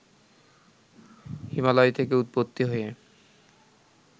হিমালয় থেকে উৎপত্তি হয়ে